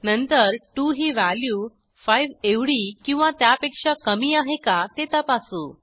नंतर 2 ही व्हॅल्यू 5 एवढी किंवा त्यापेक्षा कमी आहे का ते तपासू